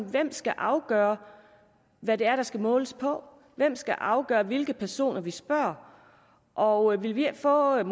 hvem skal afgøre hvad det er der skal måles på hvem skal afgøre hvilke personer vi spørger og vil vi ikke få et